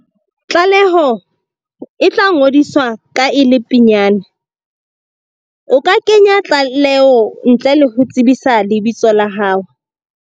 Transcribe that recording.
Tlaleo e tlangodiswa ka e le pinyane. O ka kenya tlaleo ntle le ho tsebisa lebitso la hao.